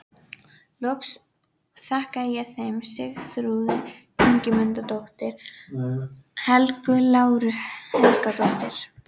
Loks þakka ég þeim Sigþrúði Ingimundardóttur, Helgu Láru Helgadóttur